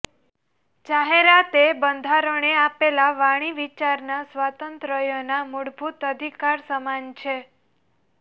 જાહેરાત એ બંધારણે આપેલા વાણી વિચારના સ્વાતંત્ર્યના મૂળભૂત અધિકાર સમાન છે